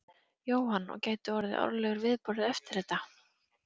Jóhann: Og gæti orðið árlegur viðburður eftir þetta?